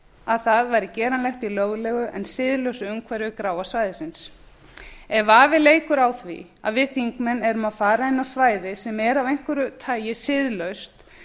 að það væri gerlegt í mögulegu en siðlausu umhverfi gráa svæðisins ef vafi leikur á því að við þingmenn séum að fara inn á svæði sem er af einhverju tagi siðlaust